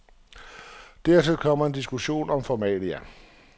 Dertil kommer en diskussion om formalia.